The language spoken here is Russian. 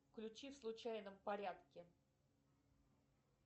включи в случайном порядке